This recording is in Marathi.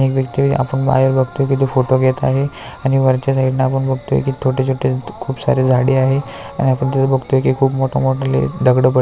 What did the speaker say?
आणि एक व्यक्ति आपण बाहेर बगतोय की तो फोटो घेत आहे आणि वरच्या साइडन आपण बगतोय की छोटे छोटे खूप सारी झाडी आहे आणि आपण बगतोय की खूप मोठयाली दगडी पड --